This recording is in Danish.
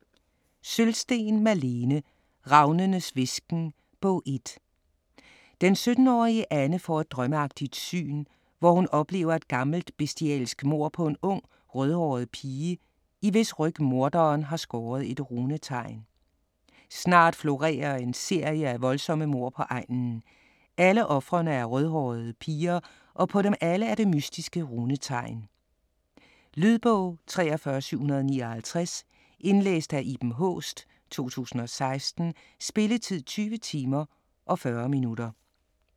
Sølvsten, Malene: Ravnenes hvisken: Bog 1 Den 17-årige Anne får et drømmeagtigt syn, hvor hun oplever et gammelt bestialsk mord på en ung rødhåret pige, i hvis ryg morderen har skåret et runetegn. Snart florerer en serie af voldsomme mord på egnen. Alle ofrene er rødhårede piger, og på dem alle er det mystiske runetegn. Lydbog 43759 Indlæst af Iben Haaest, 2016. Spilletid: 20 timer, 40 minutter.